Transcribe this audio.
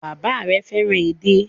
Bàbá rẹ fẹ́ràn edé.